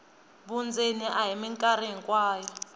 vundzeni a hi mikarhi hinkwayo